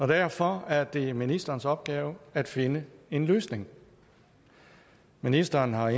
derfor er det ministerens opgave at finde en løsning ministeren har